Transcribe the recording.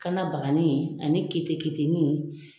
Kana baganin ye ani ye